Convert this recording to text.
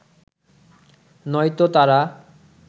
নয়তো তারা